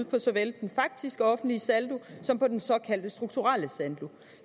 på såvel den faktiske offentlige saldo som på den såkaldte strukturelle saldo